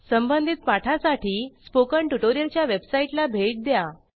संबंधित पाठासाठी स्पोकन ट्युटोरियलच्या वेबसाईटला भेट द्या